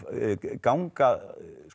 ganga